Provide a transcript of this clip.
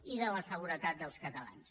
i de la seguretat dels catalans